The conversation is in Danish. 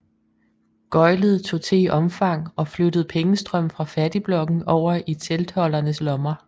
Gøglet tog til i omfang og flyttede pengestrømmen fra fattigblokken over i teltholdernes lommer